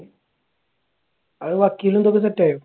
അത് വക്കീലും ഇതൊക്കെ set ആയോ?